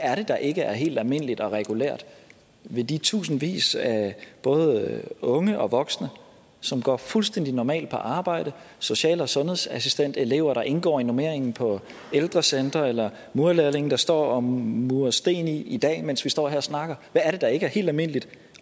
er det der ikke er helt almindeligt og regulært ved de tusindvis af både unge og voksne som går fuldstændig normalt på arbejde social og sundhedsassistentelever der indgår i normeringen på ældrecentre eller murerlærlinge der står og murer sten i dag mens vi står her og snakker hvad er det der ikke er helt almindeligt